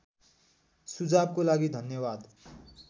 सुझावको लागि धन्यावाद